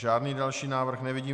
Žádný další návrh nevidím.